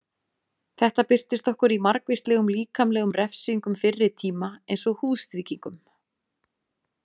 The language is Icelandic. Þetta birtist okkur í margvíslegum líkamlegum refsingum fyrri tíma eins og húðstrýkingum.